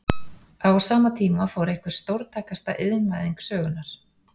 Á sama tíma fór fram einhver stórtækasta iðnvæðing sögunnar.